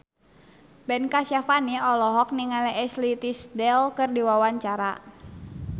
Ben Kasyafani olohok ningali Ashley Tisdale keur diwawancara